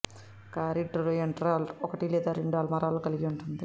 కారిడార్లో ఎంట్రరాల్ ఒకటి లేదా రెండు అల్మారాలు కలిగి ఉంటుంది